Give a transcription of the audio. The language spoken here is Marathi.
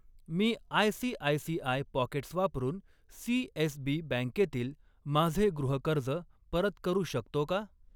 मी आयसीआयसीआय पॉकेट्स वापरून सीएसबी बँकेतील माझे गृहकर्ज परत करू शकतो का?